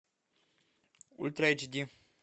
ультра эйч ди